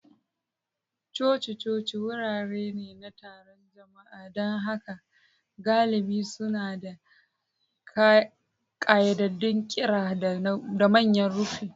Coci-coci wurare ne na taron jama'a, don haka galibi suna da ƙayyadaddun ƙira da manyan rufi.